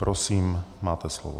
Prosím, máte slovo.